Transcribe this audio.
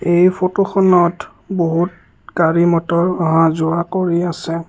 এই ফটোখনত বহুত গাড়ী মটৰ অহা যোৱা কৰি আছে।